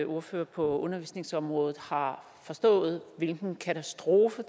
ordfører på undervisningsområdet har forstået hvilken katastrofe